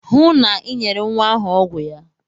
Hụụ na Ị nyere nwa ahụ ọgwụ ya!